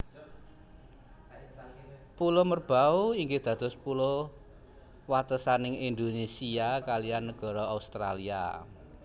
Pulo Merbau inggih dados pulo watesaning Indonésia kaliyan nagara Australia